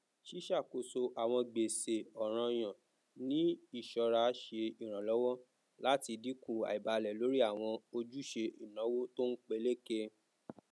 ṣíṣàkóso àwọn gbèsè ọrànyàn ní iṣọra ṣe iranlọwọ láti dínkù àìbálẹ lórí àwọn ojúṣe ináwó tónpeléke